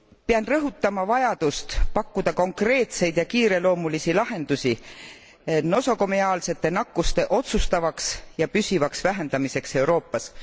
Pean rõhutama vajadust pakkuda konkreetseid ja kiireloomulisi lahendusi nosokomeaalsete nakkuste otsustavaks ja püsivaks vähendamiseks Euroopas.